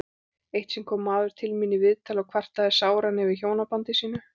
Eitt sinn kom maður til mín í viðtal og kvartaði sáran yfir hjónabandi sínu.